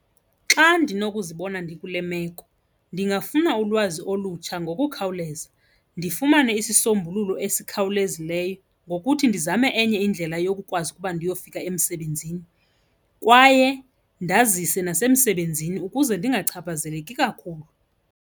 Xa ndinokuzibona ndikule meko ndingafuna ulwazi olutsha ngokukhawuleza, ndifumane isisombululo esikhawulezileyo ngokuthi ndizame enye indlela yokukwazi ukuba ndiyofika emsebenzini kwaye ndazise nasemsebenzini ukuze ndingachaphazeleki kakhulu.